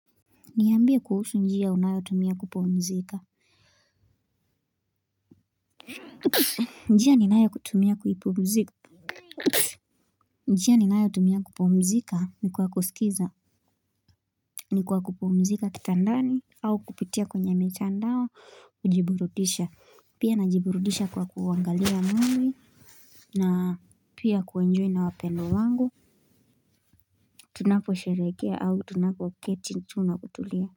Niambie kuhusu njia unayotumia kupumzika. Njia ninayotumia kupumzika. Njia ninayotumia kupumzika ni kwa kusikiza ni kwa kupumzika kitandani au kupitia kwenye mitandao kujiburudisha. Pia najiburudisha kwa kuangalia 'movie', na pia kuenjoy na wapendwa wangu, tunaposherehekea au tunapoketi chini na kutulia. Kwa hivyo.